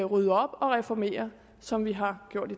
rydde op og reformere som vi har gjort